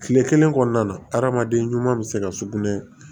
Kile kelen kɔnɔna na adamaden ɲuman be se ka sugunɛ